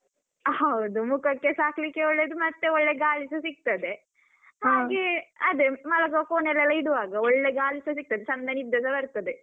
ಹೌದು ಮುಖಕ್ಕೆಸಾ ಹಾಕ್ಲಿಕ್ಕೆ ಒಳ್ಳೆದು ಮತ್ತೆ ಒಳ್ಳೆ ಗಾಳಿಸ ಸಿಗ್ತದೆ ಹಾಗೆ ಅದೇ ಮಲಗುವ ಕೋಣೆಯಲ್ಲಿ ಎಲ್ಲ ಇಡುವಾಗ ಒಳ್ಳೆ ಗಾಳಿಸ ಸಿಗ್ತದೆ, ಚಂದ ನಿದ್ದೆಸ ಬರ್ತದೆ.